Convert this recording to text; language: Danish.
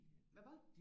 Hva'ba'